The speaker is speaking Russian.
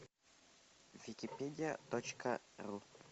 википедия точка ру